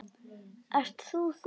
Ert þú þú?